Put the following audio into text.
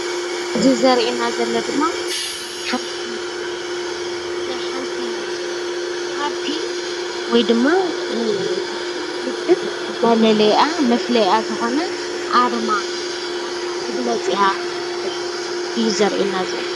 እዚ ዘርእየና ዘሎ ድማ ናይ ሓንቲ ፓርቲ ወይድማ ውድብ መለለይኣ መፍለይኣ ዝኮነ ኣርማ መግለፂኣ እዩ ዘርእየና ዘሎ::